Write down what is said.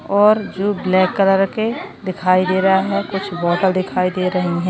और जो black colour के दिखाई दे रहा है कुछ बॉटल दिखाई दे रहे रही है।